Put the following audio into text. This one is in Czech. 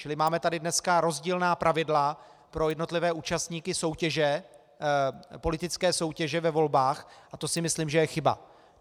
Čili máme tady dneska rozdílná pravidla pro jednotlivé účastníky politické soutěže ve volbách a to si myslím, že je chyba.